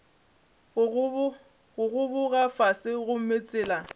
go gogoba fase gomme tsela